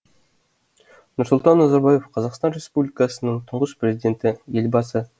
нұрсұлтан назарбаев қазақстан республикасының тұңғыш президенті елбасы